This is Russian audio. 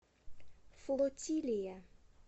флотилия